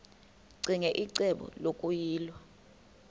ccinge icebo lokuyilwa